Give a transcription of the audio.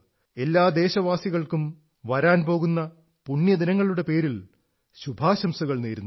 എല്ലാ ദേശവാസികൾക്കും വരാൻ പോകുന്ന പുണ്യദിനങ്ങളുടെ പേരിൽ ശുഭാശംസകൾ നേരുന്നു